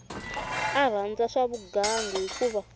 a rhandza swa vugangu hikuva